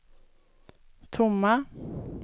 tomma